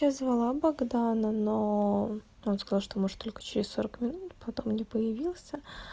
я звала богдана но он сказал что может только через сорок минут потом не появился